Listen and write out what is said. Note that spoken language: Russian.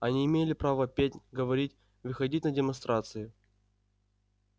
они имели право петь говорить выходить на демонстрации